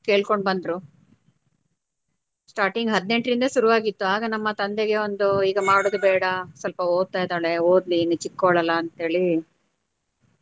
ಕೇಳ್ಕೊಂಡು ಬಂದ್ರೂ starting ಹದಿನೆಂಟರಿಂದ ಶುರುವಾಗಿತ್ತು ಆಗ ನಮ್ಮ ತಂದೆಗೆ ಒಂದು ಈಗ ಮಾಡೋದು ಬೇಡ ಸ್ವಲ್ಪ ಓದ್ತಾ ಇದ್ದಾಳೆ ಓದ್ಲಿ ಇನ್ನು ಚಿಕ್ಕವಳು ಅಲ್ಲ ಅಂತ ಹೇಳಿ.